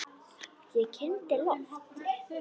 Ég kyngdi lofti.